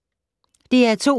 DR2